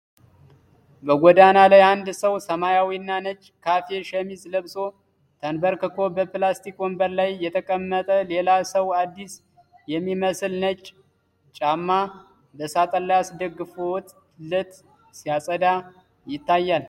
በጎዳና ላይ፣ አንድ ሰው ሰማያዊና ነጭ ካሬ ሸሚዝ ለብሶ ተንበርክኮ፣ በፕላስቲክ ወንበር ላይ የተቀመጠ ሌላ ሰው አዲስ የሚመስል ነጭ ጫማ በሳጥን ላይ አስደግፎለት ሲያጸዳ ይታያል።